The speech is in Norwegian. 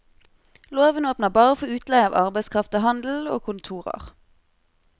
Loven åpner bare for utleie av arbeidskraft til handelen og kontorer.